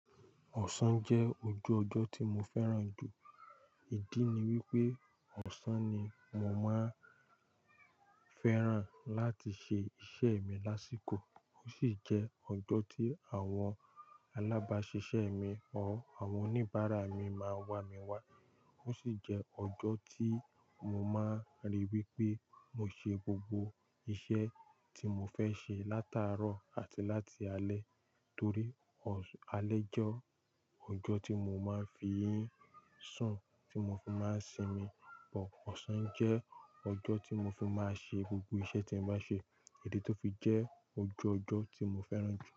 Ọ̀sán jẹ́ ojú ọjọ́ tí mo fẹ́ràn jù. Ìdí ni wípé ọ̀sán ni mo máa ń fẹ́ràn láti ṣe iṣẹ́ mi lásìkò. Ó sì jẹ́ ọjọ́ tí àwọn alábáṣiṣẹ́ mi or àwọn oníbàárà mi máa ń wà mí wá. Ó sì jẹ́ ọjọ́ tí mo máa ń ríi wípé mo ṣe gbogbo iṣẹ́ tí mo fẹ́ ṣe látàárọ̀ àti láti alẹ́ torí alẹ́ jẹ́ ọjọ́ tí mo máa ń fi í sùn, tí mo fi máa ń sinmi pọ̀. Ọ̀sán jẹ́ ọjọ́ tí mo fi máa ṣe gbogbo iṣẹ́ tí m bá ṣe, ìdí tó fi jẹ́ ojú ọjọ́ tí mo fẹ́ràn jù.